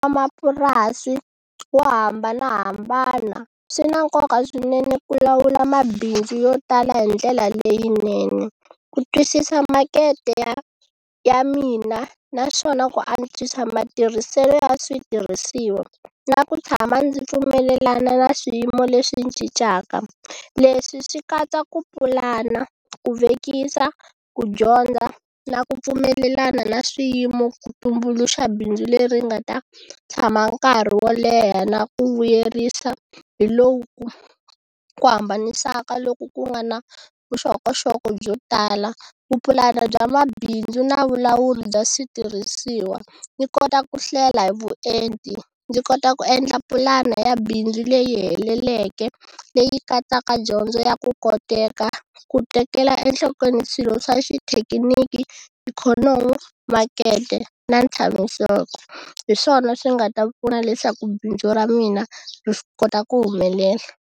Vamapurasi vo hambanahambana swi na nkoka swinene ku lawula mabindzu yo tala hi ndlela leyinene ku twisisa makete ya ya mina naswona ku antswisa matirhiselo ya switirhisiwa na ku tshama ndzi pfumelelana na swiyimo leswi cincaka. Leswi swi katsa ku pulana, ku vekisa, ku dyondza na ku pfumelelana na swiyimo ku tumbuluxa bindzu leri nga ta tshama nkarhi wo leha na ku vuyerisa hi lowu ku ku hambanisaka loko ku nga na vuxokoxoko byo tala, vupulani bya mabindzu na vulawuri bya switirhisiwa ni kota ku hlela hi vuenti ndzi kota ku endla pulana ya bindzu leyi heleleke leyi katsaka dyondzo ya ku koteka ku tekela enhlokweni swilo swa xithekiniki, ikhonomi, makete na tshamiseka. Hi swona swi nga ta pfuna leswaku bindzu ra mina ri swi kota ku humelela.